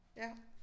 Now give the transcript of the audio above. Ja